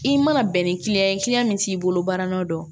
I mana bɛn ni kiliyan ye min t'i bolo baara nɔ don